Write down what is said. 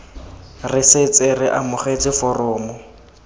re setse re amogetse foromo